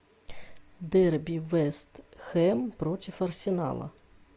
дерби вест хэм против арсенала